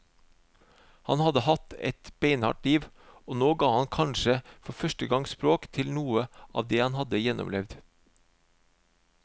Han hadde hatt et beinhardt liv, og nå ga han kanskje for første gang språk til noe av det han hadde gjennomlevd.